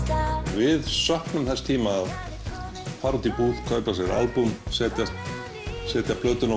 við söknum þess tíma að fara út í búð kaupa sér albúm setja setja plötuna á